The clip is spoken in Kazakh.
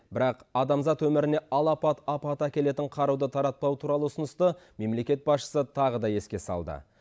бірақ адамзат өміріне алапат апат әкелетін қаруды таратпау туралы ұсынысты мемлекет басшысы тағы да еске салды